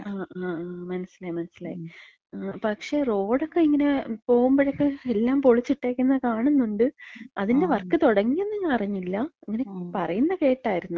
ആ ആ ആ....മനസ്സിലായി. മനസിലായി. ങാ പക്ഷേ റോഡൊക്കെ ഇങ്ങനെ പോവ്മ്പഴക്ക എല്ലാം പൊളിച്ചിട്ടേക്കുന്നെ കാണുന്നുണ്ട്. അതിന്‍റെ വർക്ക് തൊടങ്യന്ന് ഞാൻ അറിഞ്ഞില്ല. ഇങ്ങനെ പറയ്ന്നെ കേട്ടായിര്ന്ന്.